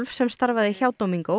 sem starfaði hjá